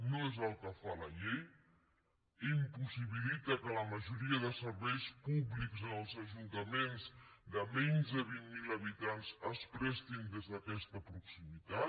no és el que fa la llei i impossibilita que la majoria de serveis públics en els ajuntaments de menys de vint mil habitants es prestin des d’aquesta proximitat